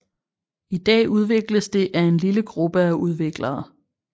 I dag udvikles det af en lille gruppe af udviklere